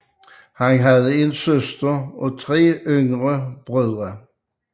Han havde en søster og tre yngre brødre